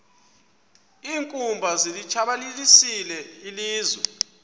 iinkumbi zilitshabalalisile ilizwe